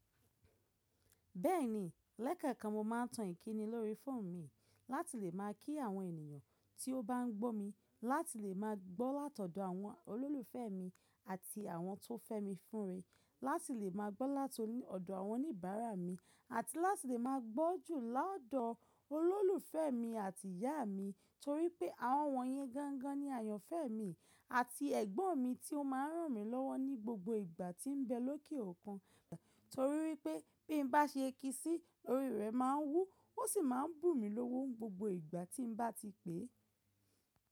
Bẹ́ẹ̀ni, lẹ́kẹ̀ẹ̀kan mo máa ń tan ìkíni lóri fóònù mi láti lè máa kí àwọn ènìyàn tí ó bá ń gbó mi, láti lè máa gbọ́ látọ̀dọ̀ àwọn olólùfẹ́ mi àti àwọn tó fẹ́ mi fúnre, láti lè máa gbọ́ látọ̀dọ̀ àwọn oníbàárà mi, àti láti lè máa gbọ́ jù látọ̀dọ̀ olólùfẹ́ mi àti ìyá mi torí pé àwọn wọ̀nyẹn gangan ni ayànfẹ́ mi àti ẹ̀gbọ́n mi tí ó máa ń ràn mí lọ́wọ́ ní gbogbo ìgbà tí ń bẹ lóké òkun, torí wípé bí mo bá ṣe kii si lórí rẹ̀ máa ń wú ó sì máa ń bú mi lówó gbogbo ìgbà tí mo bá ti pè é.